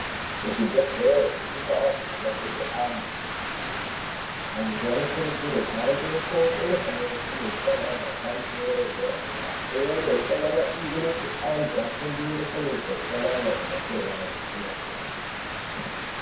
Kuzvibhedhleri nekundaa dzinobetserwe antu antu anokurudzirwe kuhambeko kunofanire kune utsanana hwepamutsoro edera dera imweni yehutsanana iyi inoti antu afundire kunoita utsanana kumhatso yayo kwemene.